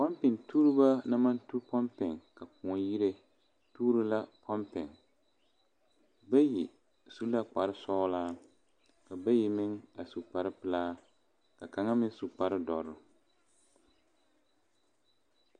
Pompere tuoro bu naŋ maŋ tu pompeŋ tuoro la pompeŋ ka kõɔ yiri bayi su la kpaare soɔlɔ bayi meŋ su kpaare pɛle ka bayi meŋ su kpaare dɔrɔ.